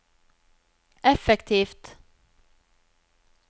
effektivt